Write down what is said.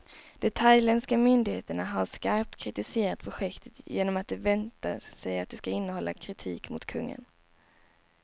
De thailändska myndigheterna har skarpt kritiserat projektet, genom att de väntar sig att det ska innehålla kritik mot kungen.